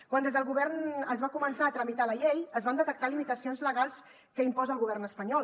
quan des del govern es va començar a tramitar la llei es van detectar limitacions legals que imposa el govern espanyol